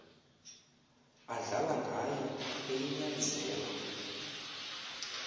adlala ngayo eyinyanzela